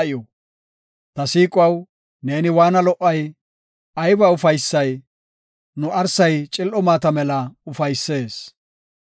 Ta siiquwaw, neeni waanna lo77ay! Ayba ufaysay; nu arsay cil7o maata mela ufaysees.